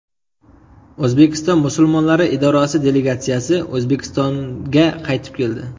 O‘zbekiston musulmonlari idorasi delegatsiyasi O‘zbekistonga qaytib keldi.